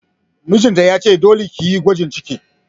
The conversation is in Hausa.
Mijin ta ya ce 'Dole ki yi gwajin ciki'!